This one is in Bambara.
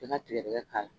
I ka tigɛdɛgɛ k'a la